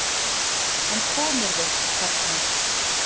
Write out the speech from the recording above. En komirðu, karl minn!